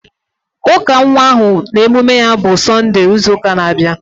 Ụka nwa ahụ na emume ya bụ Sọnde ịzu ụka na-abịa